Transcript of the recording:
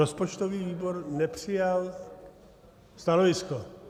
Rozpočtový výbor nepřijal stanovisko.